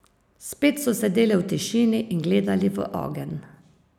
Spet so sedeli v tišini in gledali v ogenj.